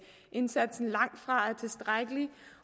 indsatsen langtfra er tilstrækkelig